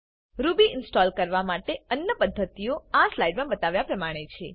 Ruby install કરવા માટે અન્ય પદ્ધતિઓ આ સ્લાઇડ માં બતાવ્યા પ્રમાણે છે